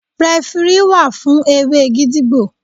Rẹfirí wà fún eré gídígbò.